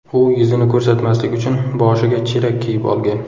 U yuzini ko‘rsatmaslik uchun boshiga chelak kiyib olgan.